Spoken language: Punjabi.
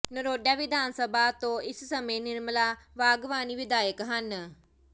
ਨਰੋਡਾ ਵਿਧਾਨ ਸਭਾ ਤੋਂ ਇਸ ਸਮੇਂ ਨਿਰਮਲਾ ਵਾਘਵਾਨੀ ਵਿਧਾਇਕ ਹਨ